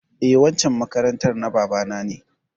Eh, waccan makarantar bana na ne.